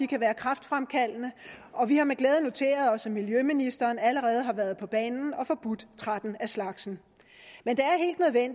kan være kræftfremkaldende og vi har med glæde noteret os at miljøministeren allerede har været på banen og forbudt tretten af slagsen men det